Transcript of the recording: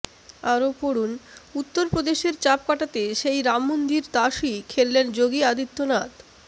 আরও পড়ুন উত্তর প্রদেশের চাপ কাটাতে সেই রাম মন্দির তাসই খেললেন যোগী আদিত্যনাথ